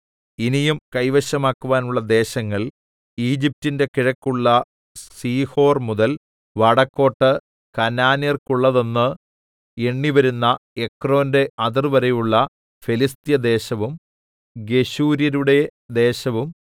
ഇനിയും കൈവശമാക്കാനുള്ള ദേശങ്ങൾ ഈജിപ്റ്റിന്റെ കിഴക്കുള്ള സീഹോർമുതൽ വടക്കോട്ട് കനാന്യർക്കുള്ളതെന്ന് എണ്ണിവരുന്ന എക്രോന്റെ അതിർവരെയുള്ള ഫെലിസ്ത്യദേശവും ഗെശൂര്യരുടെ ദേശവും